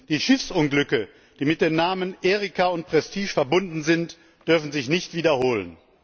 Die Schiffsunglücke, die mit den Namen Erika und Prestige verbunden sind, dürfen sich nicht wiederholen.